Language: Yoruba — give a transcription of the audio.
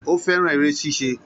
Ó fẹ́ràn eré ṣíṣe